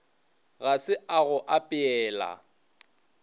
ga se a go apeela